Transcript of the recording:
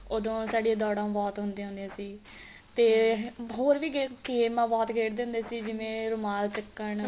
ਉਹਦੋ ਸਾਡੀਆਂ ਦੋੜਾ ਬਹੁਤ ਹੁੰਦਿਆ ਹੁੰਦਿਆ ਸੀ ਤੇ ਹੋਰ ਵੀ game ਗੇਮਾ ਬਹੁਤ ਖੇਡਦੇ ਹੁੰਦੇ ਸੀ ਜੀਵਨ ਰੁਮਾਲ ਚਕਣ